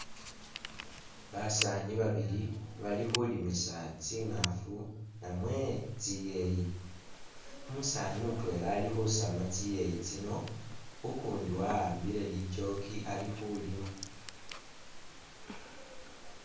Basaani babili bali khulimisa tsingaafu namwe tsiyeeyi. Umusaani mutwela ali khusama tsiyeyi tsino, ukundi wa'ambile lichooki ali khulima.